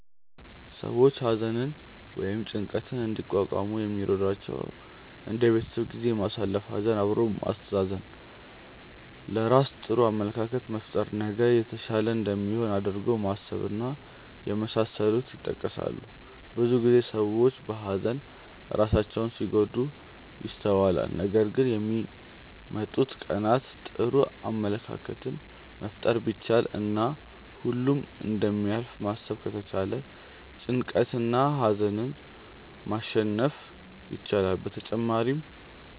ሰዎች ሀዘንን ወይም ጭንቀትን እንዲቋቋሙ የሚረዷቸው እንደ የቤተሰብ ጊዜ ማሳለፍ፣ ሀዘን አብሮ ማስተዛዘን፣ ለራስ ጥሩ አመለካከት መፍጠር፣ ነገ የተሻለ እንደሚሆን አድርጎ ማሰብ እና የመሳሰሉት ይጠቀሳሉ። ብዙ ጊዜ ሰዎች በሀዘን ራሳቸውን ሲጎዱ ይስተዋላል ነገር ግን ለሚመጡት ቀናት ጥሩ አመለካከትን መፍጠር ቢቻል እና ሁሉም እንደሚያልፍ ማሰብ ከተቻለ ጭንቀትንና ሀዘንን ማሸነፍ ይቻላል። በተጨማሪም